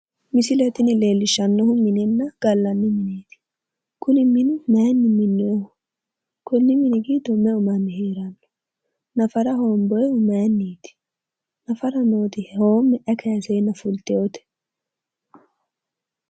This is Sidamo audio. Misile tini leellishshannohu minenna gallanni mineeti. kuni mini maayiinni minnooyiiho? konni mini giddo meu manni heeranno? nafara hoomboyiihu maayiinniiti? nafara nooti hoomme ayi kaaseenna fultewoote?